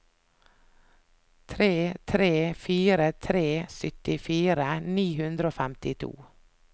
tre tre fire tre syttifire ni hundre og femtito